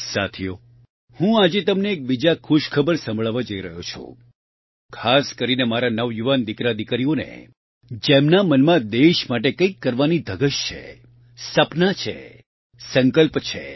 સાથીઓ હું આજે તમને એક બીજા ખુશખબર સંભળાવવા જઇ રહ્યો છું ખાસ કરીને મારા નવયુવાન દિકરાદિકરીઓને જેમના મનમાં દેશ માટે કંઇક કરવાની ધગશ છે સપના છે સંકલ્પ છે